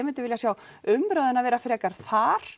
myndi vilja sjá umræðuna vera frekar þar